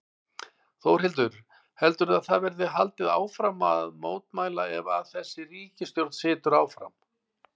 Þórhildur: Heldurðu að það verði haldið áfram að mótmæla ef að þessi ríkisstjórn situr áfram?